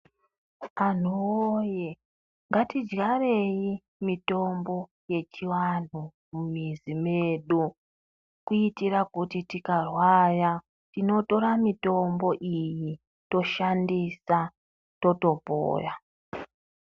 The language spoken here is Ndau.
Anhu woye ngatidyarei mutombo yechianhu mumizi mwedu kuitira kuti tikarwara tinotora mutombo iyi toshandisa totopora.